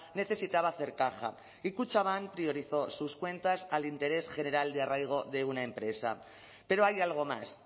necesitaba hacer caja y kutxabank priorizó sus cuentas al interés general de arraigo de una empresa pero hay algo más